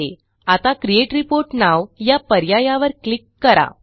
आता create report now या पर्यायावर क्लिक करा